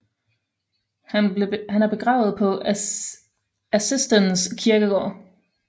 Han er begravet på Assistens Kirkegård